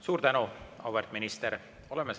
Suur tänu, auväärt minister!